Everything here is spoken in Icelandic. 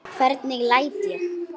Gastu ekki sofið?